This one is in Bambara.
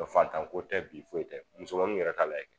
Fatan ko tɛ bi foyi tɛ musomanniw yɛrɛ ka lajɛ kɛ